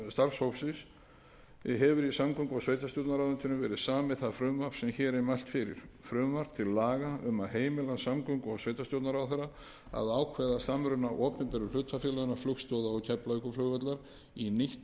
starfshópsins hefur í samgöngu og sveitarstjórnarráðuneytinu verið samið það frumvarp sem hér er mælt fyrir frumvarp til laga um að heimila samgöngu og sveitarstjórnarráðherra að ákveða samruna opinberu hlutafélaganna flugstoða og keflavíkurflugvallar í nýtt